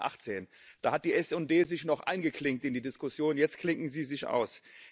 2018. Da hat die SD sich noch eingeklinkt in die Diskussion, jetzt klinken sie sich aus.